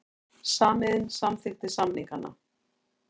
Samiðn samþykkti samningana